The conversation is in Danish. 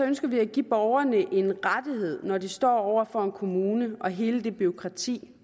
ønsker vi at give borgerne en rettighed når de står over for en kommune og hele det bureaukrati